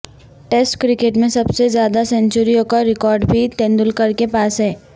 test cricket میں سب سے زیادہ سنچریوں کا ریکارڈ بھی تندولکر کے پاس ہے